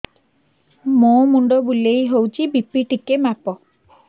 ମୋ ମୁଣ୍ଡ ବୁଲେଇ ହଉଚି ବି.ପି ଟିକେ ମାପ